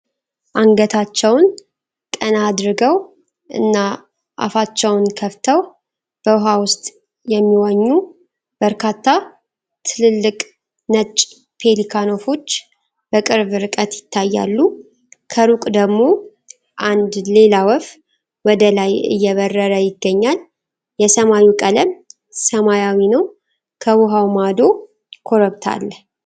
አንገታቸውን ቀና አድርገው እና አፋቸውን ከፍተው በውሃ ውስጥ የሚዋኙ በርካታ ትልልቅ ነጭ ፔሊካን ወፎች በቅርብ ርቀት ይታያሉ። ከሩቅ ደግሞ አንድ ሌላ ወፍ ወደ ላይ እየበረረ ይገኛል። የሰማዩ ቀለም ሰማያዊ ነው፣ ከውሃው ማዶ ኮረብታ አለ።